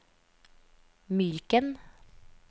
Myken